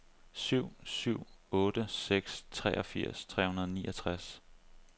syv syv otte seks treogfirs tre hundrede og niogtres